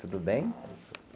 Tudo bem?